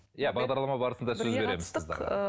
иә бағдарлама барысында сөз береміз қыздарға